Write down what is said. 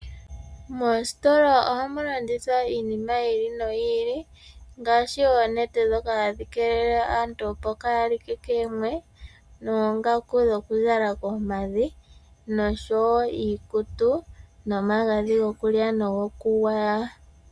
Moositola ohamu landithwa iinima yili noyi ili ngaashi oonete dhoka hadhi kelele aantu opo kaya like koomwe, noongaku dhokuzala koompadhi nosho wo iikutu, nomagadhi gokulya nokugwaya.